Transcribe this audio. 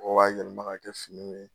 Ɔ b'a yɛlɛma k'a kɛ fini ye